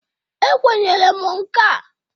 E kwenyere m nka.